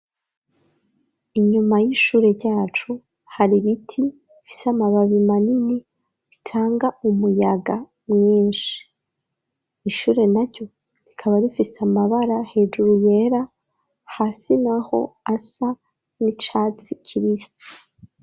Inyuma y'ishure ryacu hari biti bifise amababi manini bitanga umuyaga mwinshi; ishure na ryo rikaba bifise amabara hejuru yera hasi naho asa n'icatsi kibisi.